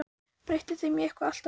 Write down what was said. Breytti þeim í eitthvað allt annað.